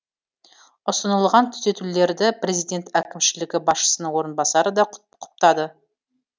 ұсынылған түзетулерді президент әкімшілігі басшысының орынбасары да құптады